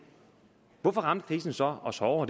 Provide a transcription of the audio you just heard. hvorfor ramte krisen så os hårdere og